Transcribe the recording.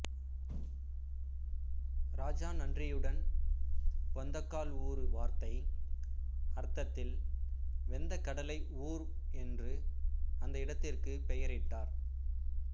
ராஜா நன்றியுடன் பெந்தகால்ஊரு வார்த்தை அர்த்தத்தில் வெந்த கடலை ஊர் என்று அந்த இடத்திற்கு பெயரிட்டார்